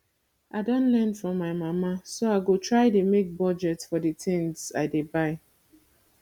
i don learn from my mama so i go try dey make budget for the things i dey buy